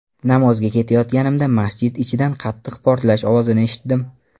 Namozga ketayotganimda masjid ichidan qattiq portlash ovozini eshitdim”.